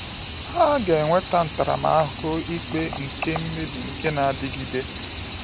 Ha “ga-enweta ntaramahụhụ ikpe nke mmebi nke na-adịgide.”